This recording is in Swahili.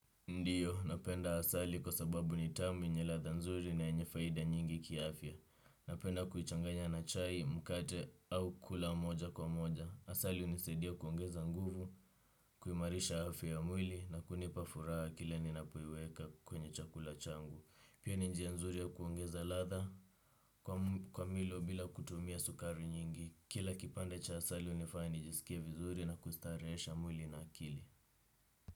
Ndiyo, napenda asali kwa sababu ni tamu yenye latha nzuri na enyefaida nyingi kia afya. Napenda kuhichanganya na chai, mkate au kula moja kwa moja. Asali unisedia kuongeza nguvu, kuimarisha afya ya mwili na kunipa furaa kile ninapoiweka kwenye chakula changu. Pia ni njia nzuri ya kuongeza latha kwa milo bila kutumia sukari nyingi. Kila kipande cha asali unifanyanijisikie vizuri na kustarehesha mwili na akili.